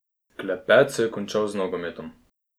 Klepet se je končal z nogometom.